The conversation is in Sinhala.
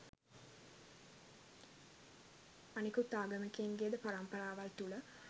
අනිකුත් ආගමිකයින්ගේද පරම්පරාවල් තුල